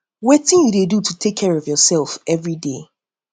wetin um you dey do to take care of your self everyday